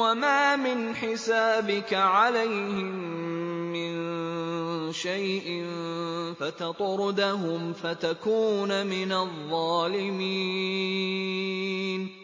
وَمَا مِنْ حِسَابِكَ عَلَيْهِم مِّن شَيْءٍ فَتَطْرُدَهُمْ فَتَكُونَ مِنَ الظَّالِمِينَ